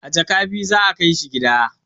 A jaka biyu za a kai shi gida